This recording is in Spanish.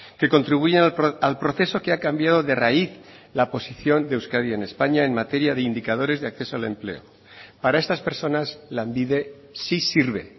que contribuyen al proceso que ha cambiado de raíz la posición de euskadi en españa en materia de indicadores de acceso al empleo para estas personas lanbide sí sirve